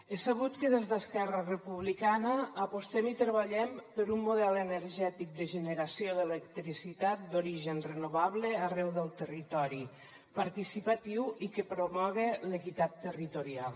és sabut que des d’esquerra republicana apostem i treballem per un model energètic de generació d’electricitat d’origen renovable arreu del territori participatiu i que promoga l’equitat territorial